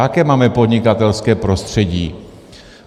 Jaké máme podnikatelské prostředí?